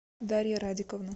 дарья радиковна